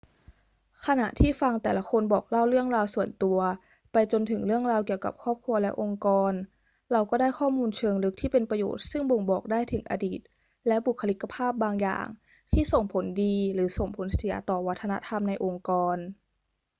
ขณะที่ฟังแต่ละคนบอกเล่าเรื่องราวส่วนตัว ไปจนถึงเรื่องราวเกี่ยวกับครอบครัวและองค์กร เราก็ได้ข้อมูลเชิงลึกที่เป็นประโยชน์ซึ่งบ่งบอกได้ถึงอดีตและบุคลิกภาพบางอย่างที่ส่งผลดีหรือส่งผลเสียต่อวัฒนธรรมในองค์กร